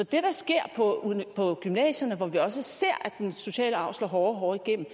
det der sker på gymnasierne hvor vi også ser at den sociale arv slår hårdere og hårdere igennem